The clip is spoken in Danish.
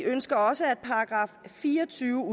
ønsker også at § fire og tyve